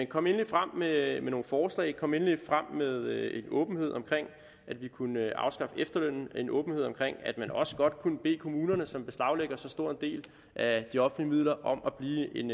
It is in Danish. kom endelig frem med nogle forslag kom endelig frem med en åbenhed omkring at vi kunne afskaffe efterlønnen og en åbenhed omkring at man også godt kunne bede kommunerne som beslaglægger en så stor del af de offentlige midler om at blive en